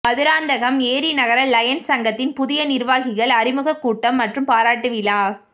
மதுராந்தகம் ஏரிநகர லயன்ஸ் சங்கத்தின் புதிய நிா்வாகிகள் அறிமுக கூட்டம் மற்றும் பாராட்டு விழா